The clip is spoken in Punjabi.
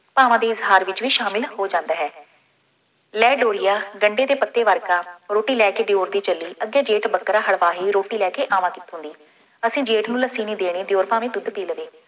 ਭਾਵਾਂ ਦੇ ਹਾਰ ਵਿੱਚ ਵੀ ਸ਼ਾਮਿਲ ਹੋ ਜਾਂਦਾ ਹੈ। ਲੈ ਡੋਰੀਆ, ਗੰਢੇ ਦੇ ਪੱਤੇ ਵਰਗਾ, ਰੋਟੀ ਲੈ ਕੇ ਦਿਉਰ ਦੀ ਚੱਲੀ, ਅੱਗੇ ਜੇਠ ਬੱਕਰਾ ਹੜਬਾਹੀ ਰੋਟੀ ਲੈ ਕੇ ਆਵਾਂ ਦੀ ਅਸੀਂ ਜੇਠ ਨੂੰ ਲੱਸੀ ਨਹੀਂ ਦੇਣੀ, ਦਿਉਰ ਭਾਵੇਂ ਦੁੱਧ ਪੀ ਲਵੇ।